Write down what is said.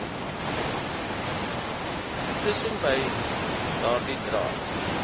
tussenbei daardie draad